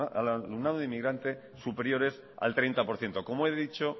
al alumnado inmigrante superiores al treinta por ciento como he dicho